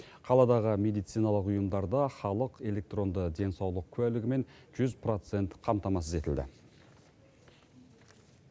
қаладағы медициналық ұйымдарда халық электронды денсаулық куәлігімен жүз процент қамтамасыз етілді